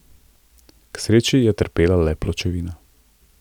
K sreči je trpela le pločevina.